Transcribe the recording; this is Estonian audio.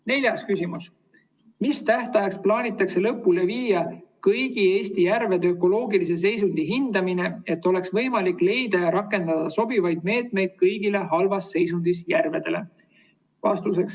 Neljas küsimus: "Mis tähtajaks plaanitakse lõpule viia kõigi Eesti järvede ökoloogilise seisundi hindamine, et oleks võimalik leida ja rakendada sobivad meetmed kõigile halvas seisundis järvedele?